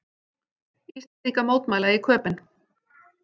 Íslendingar mótmæla í Köben